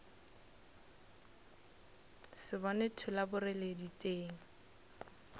se bone thola boreledi teng